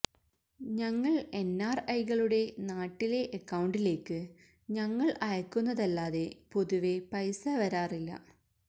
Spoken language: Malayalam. ഞങ്ങള് എന്ആര്ഐകളുടെ നാട്ടിലെ അക്കൌണ്ടിലേക്ക് ഞങ്ങള് അയക്കുന്നതല്ലാതെ പൊതുവെ പൈസ വരാറില്ല